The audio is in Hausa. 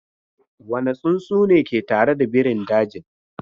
Wane tsuntsu ne ke tare da birin dajin?